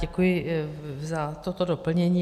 Děkuji za toto doplnění.